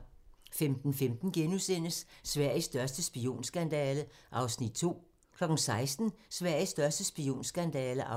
15:15: Sveriges største spionskandale (2:3)* 16:00: Sveriges største spionskandale (3:3)